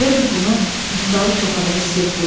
Elə bil bunu Niftalı koxada hiss etdi.